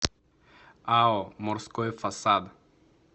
ао морской фасад